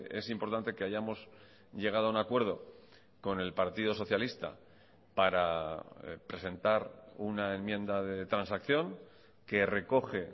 es importante que hayamos llegado a un acuerdo con el partido socialista para presentar una enmienda de transacción que recoge